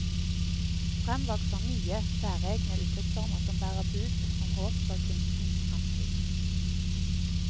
Frem vokser nye, særegne uttrykksformer som bærer bud om håp for kunstens fremtid.